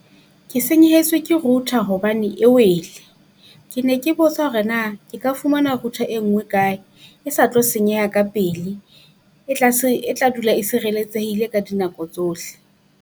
Ke senyehetswe ke router hobane e wele, ke ne ke botsa hore na ke ka fumana router e nngwe kae? E sa tlo senyeha ka pele e tla se e tla dula e sireletsehile ka dinako tsohle.